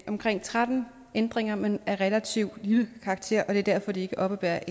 omkring tretten ændringer men af en relativt lille karakter og det er derfor de ikke oppebærer